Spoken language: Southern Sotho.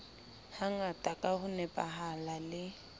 hangata ka ho nepahala le